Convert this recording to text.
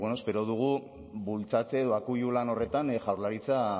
eta espero dugu bultzatze edo akuilu lan horretan jaurlaritza